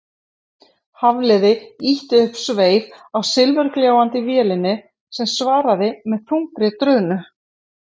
Hafliði ýtti upp sveif á silfurgljáandi vélinni sem svaraði með þungri drunu.